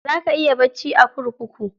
Za ka iya bacci a kurkuku.